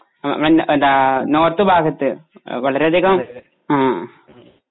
ആ അവൻ ത ആ നോർത്ത് ഭാഗത്തു വളരെയധികം ആ